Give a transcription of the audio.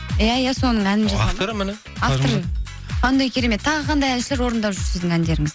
иә иә соның әнін жазған авторы міне авторы қандай керемет тағы қандай әншілер орындап жүр сіздің әндеріңізді